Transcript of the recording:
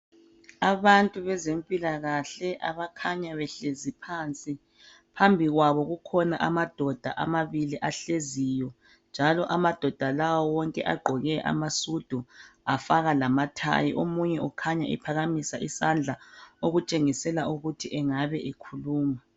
Abantu bezempilakahle abakhanya behlezi phansi phambi kwabo kukhona amadoda amabili ahleziyo njalo amadoda la wonke agqoke amasudu afaka lama thayi omunye ukhanya ephakamisa isandla okutshengisela ukuthi engabe ekhuluma